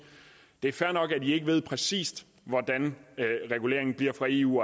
det er fair nok at i ikke ved præcis hvordan reguleringen fra eu